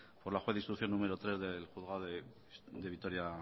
por la juez de instrucción número tres del juzgado de vitoria